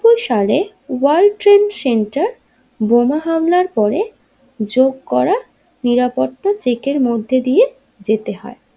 সালে World Trade Center বোমা হামলার পরে যোগ নিরপত্তা চেকের মধ্যে দিয়ে যেতে হয়।